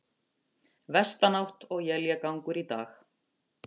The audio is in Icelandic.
Vestanátt og éljagangur í dag